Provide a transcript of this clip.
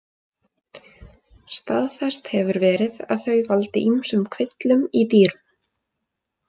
Staðfest hefur verið að þau valdi ýmsum kvillum í dýrum.